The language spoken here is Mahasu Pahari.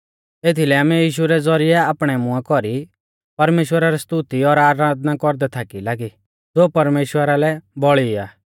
एथीलै आमै यीशु रै ज़ौरिऐ आपणै मुंआ कौरी परमेश्‍वरा री स्तुति और आराधना कौरदै थाकी लागी ज़ो परमेश्‍वरा लै बौल़ी आ